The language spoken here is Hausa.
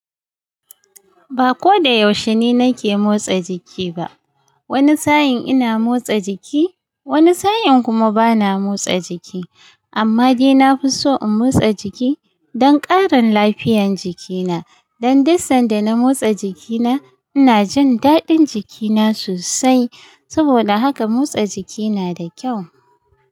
Ba ko da yaushe ni nake motsa jiki ba. Wani sa'in ina motsa jiki, wani sa'in kuma bana motsa jiki. Amma dai na fi so in motsa jiki don ƙarin lafiyan jikina. Dan duk sanda na motsa jikina ina jin daɗin jikina sosai. Saboda haka motsa jiki na da kyau.